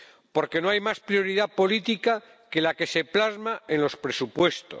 Porque no hay más prioridad política que la que se plasma en los presupuestos.